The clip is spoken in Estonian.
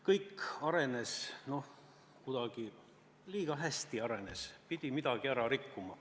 Kõik arenes, kuidagi liiga hästi arenes, pidi midagi ära rikkuma.